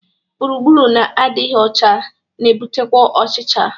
Gburugburu na-adịghị ọcha na-ebutekwa ọchịcha